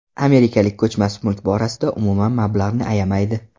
Amerikalik ko‘chmas mulk borasida umuman mablag‘ni ayamaydi.